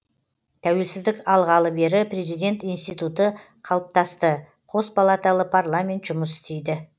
тәуелсіздік алғалы бері президент институты қалыптасты қос палаталы парламент жұмыс істейді